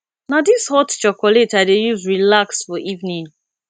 na dis hot chocolate i dey use relax for evening